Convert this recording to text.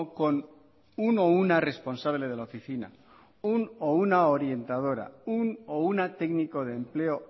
con uno o una responsable de la oficina un o una orientadora un o una técnico de empleo